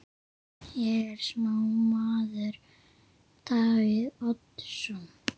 Er sá maður Davíð Oddsson?